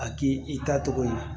A k'i i tacogo ye